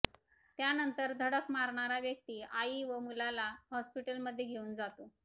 त्यानंतर धडक मारणारा व्यक्ती आई व मुलाला हॉस्पिटलमध्ये घेऊन जातो